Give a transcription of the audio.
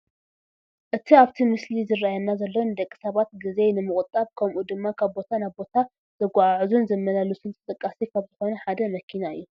እቲ ኣብቲ ምስሊ ዝራኣየና ዘሎ ንደቂ ሰባት ጊዜ ንምቑጣብ ከምኡ ድማ ካብ ቦታ ናብ ቦታ ዘጓዓዕዙን ዘመላልሱን ተጠቃሲ ካብ ዝኾኑ ሓደ መኪና እዩ፡፡